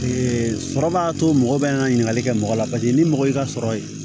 sɔrɔ b'a to mɔgɔ bɛ n ka ɲininkali kɛ mɔgɔ la paseke ni mɔgɔ y'i ka sɔrɔ ye